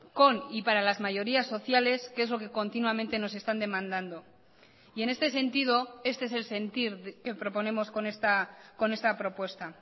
con y para las mayorías sociales que es lo que continuamente nos están demandando y en este sentido este es el sentir que proponemos con esta propuesta